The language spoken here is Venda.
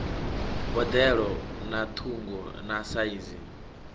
boḓelo na ṱhungu na saizi